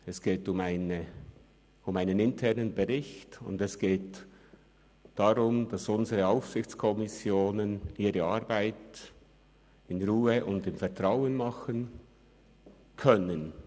Es geht um einen internen Bericht, und es geht darum, dass unsere Aufsichtskommissionen ihre Arbeit in Ruhe und im Vertrauen machen können.